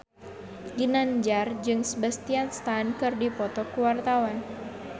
Ginanjar jeung Sebastian Stan keur dipoto ku wartawan